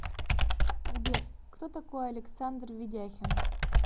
сбер кто такой александр ведяхин